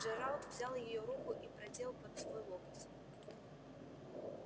джералд взял её руку и продел под свой локоть